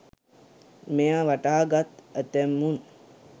මෙය වටහා ගත් ඇතැමුන්